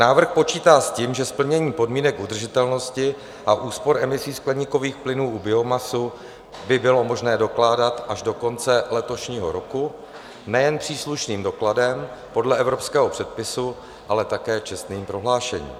Návrh počítá s tím, že splnění podmínek udržitelnosti a úspor emisí skleníkových plynů u biomasy by bylo možné dokládat až do konce letošního roku nejen příslušným dokladem podle evropského předpisu, ale také čestným prohlášením.